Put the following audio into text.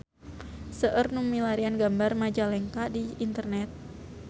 Seueur nu milarian gambar Majalengka di internet